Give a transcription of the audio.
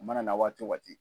A mana na waati o waati.